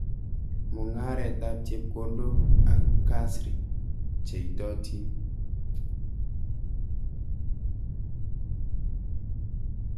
Mungaret ab chepkondok ang kasri che itotin.